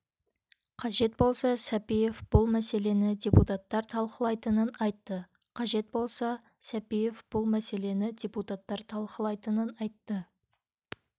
қажет болса сәпиев бұл мәселені депутаттар талқылайтынын айтты қажет болса сәпиев бұл мәселені депутаттар талқылайтынын айтты